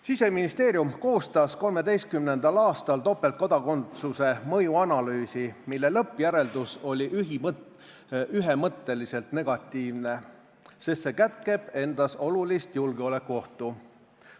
Siseministeerium koostas 2013. aastal topeltkodakondsuse mõjuanalüüsi, mille lõppjäreldus oli ühemõtteliselt negatiivne, sest see kätkeb endas olulist julgeolekuohtu.